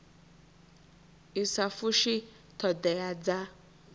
i sa fushi thodea dza